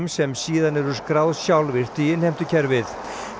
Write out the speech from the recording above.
sem síðan eru skráð sjálfvirkt í innheimtukerfið